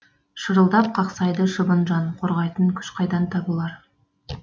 шырылдап қақсайды шыбын жан қорғайтын күш қайдан табылар